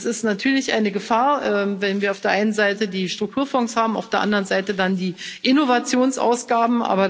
Es ist natürlich eine Gefahr, wenn wir auf der einen Seite die Strukturfonds haben, auf der anderen Seite dann die Innovationsausgaben.